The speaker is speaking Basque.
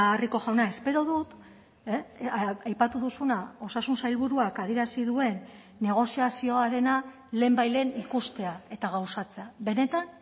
rico jauna espero dut aipatu duzuna osasun sailburuak adierazi duen negoziazioarena lehenbailehen ikustea eta gauzatzea benetan